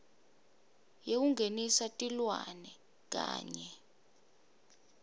yekungenisa tilwane kanye